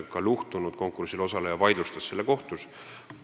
Konkursil osaleja, kes ei võitnud, vaidlustas selle kohtus.